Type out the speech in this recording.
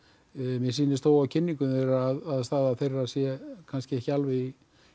mér sýnist þó á kynningu þeirra að staða þeirra sé ekki alveg í